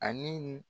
Ani